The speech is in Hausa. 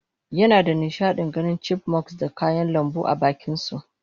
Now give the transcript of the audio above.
yinada nishadin ganin Chipmunks da kayan lambu abakinsu